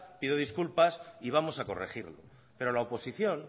pido disculpas y vamos a corregirlo pero la oposición